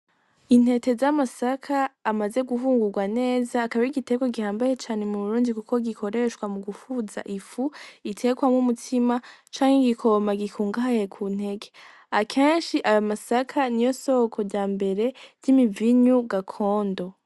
Intete z'amasaka amaze guhungugwa neza akaba arigitegwa gihambaye cane mu Burundi kuko gikoreshwa mugufuza ifu itekwamwo umutsima itekwamwo umutsima canke gikoma gikungahaye kunteke akenshi ayomasaka niyosoko ryambere ry'imivinyu gakondo.